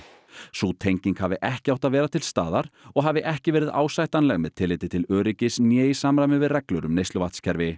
sú tenging hafi ekki átt að vera til staðar og hafi ekki verið ásættanleg með tilliti til öryggis né í samræmi við reglur um